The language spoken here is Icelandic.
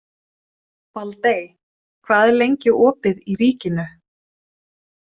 Baldey, hvað er lengi opið í Ríkinu?